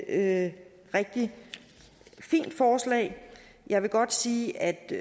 er et rigtig fint forslag jeg vil godt sige at det